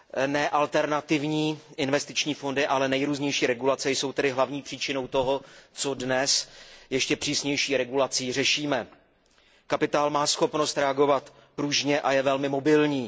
Ne alternativní investiční fondy, ale nejrůznější regulace jsou tedy hlavní příčinou toho, co dnes ještě přísnější regulací řešíme. Kapitál má schopnost reagovat pružně a je velmi mobilní.